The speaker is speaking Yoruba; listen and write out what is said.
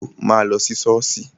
Ọmọbìnrin náà pariwo, 'máa lọ sí ṣọ́ọ̀ṣì'